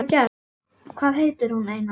Hvað heitir hún, Einar?